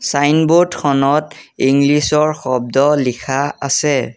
Signboard খনত English ৰ শব্দ লিখা আছে।